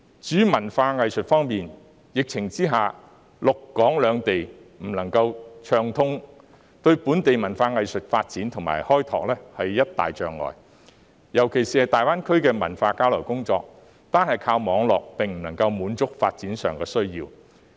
至於文化藝術方面，在疫情之下，陸港兩地不能暢通，對本地文化藝術發展和開拓是一大障礙，尤其是大灣區的文化交流工作，單靠網絡無法滿足發展需要。